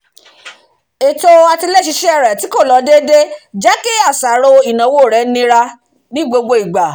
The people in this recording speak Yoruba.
ètò àtiléṣiṣẹ́ rẹ̀ tí kò lọ déédéé jẹ́ kí àṣàrò ìnáwó rẹ̀ nira ní gbogbo ìgbà